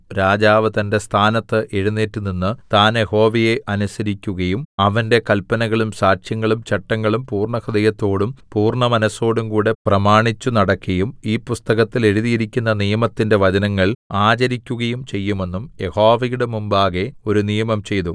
രാജാവ് തന്റെ സ്ഥാനത്ത് എഴുന്നേറ്റ് നിന്ന് താൻ യഹോവയെ അനുസരിക്കുകയും അവന്റെ കല്പനകളും സാക്ഷ്യങ്ങളും ചട്ടങ്ങളും പൂർണ്ണഹൃദയത്തോടും പൂർണ്ണമനസ്സോടുംകൂടെ പ്രമാണിച്ചുനടക്കയും ഈ പുസ്തകത്തിൽ എഴുതിയിരിക്കുന്ന നിയമത്തിന്റെ വചനങ്ങൾ ആചരിക്കുകയും ചെയ്യുമെന്നും യഹോവയുടെ മുമ്പാകെ ഒരു നിയമം ചെയ്തു